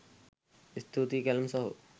ස්තූතියි කැලුම් සහෝ